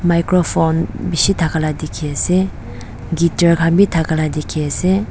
microphone bishi thaka laga dekhi ase guitar khan bi thaka laga dekhi ase.